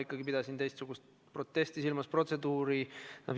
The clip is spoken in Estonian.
Ma pidasin ikka teistsugust protesti silmas, teist protseduuri.